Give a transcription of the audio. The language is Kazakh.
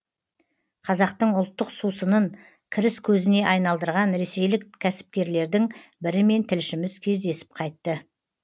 қазақтың ұлттық сусынын кіріс көзіне айналдырған ресейлік кәсіпкерлердің бірімен тілшіміз кездесіп қайтты